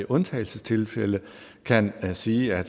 undtagelsestilfælde kan sige at